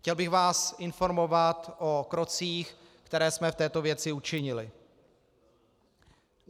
Chtěl bych vás informovat o krocích, které jsme v této věci učinili.